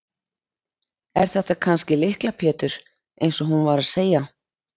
Er þetta kannski Lykla Pétur eins og hún var að segja?